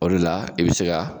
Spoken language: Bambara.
O de la , i bɛ se ka